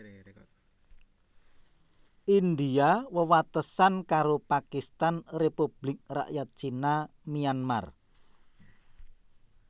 India wewatesan karo Pakistan Republik Rakyat Cina Myanmar